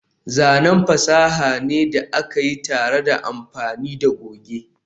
zanen fasaha ne da aka yi tare da amfani da goge